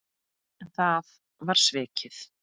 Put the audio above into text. En það var svikið.